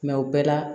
o bɛɛ la